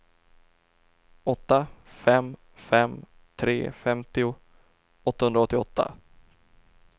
åtta fem fem tre femtio åttahundraåttioåtta